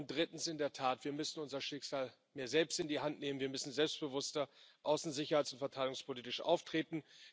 Und drittens In der Tat müssen wir unser Schicksal mehr selbst in die Hand nehmen. Wir müssen selbstbewusster außen sicherheits und verteidigungspolitisch auftreten.